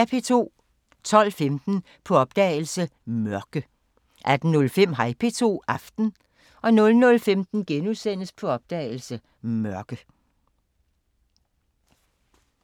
12:15: På opdagelse – Mørke 18:05: Hej P2 – Aften 00:15: På opdagelse – Mørke *